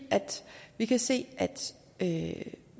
vi kan se at